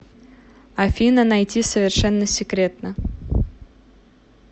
афина найти совершенно секретно